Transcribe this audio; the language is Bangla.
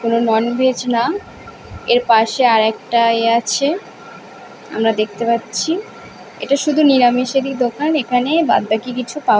কোন নন ভেজ না। এর পাশে আরেকটা ইয়ে আছে। আমরা দেখতে পাচ্ছি। এটা শুধু নিরামিষেরই দোকান। এখানে বাদবাকি কিছু পাওয়া --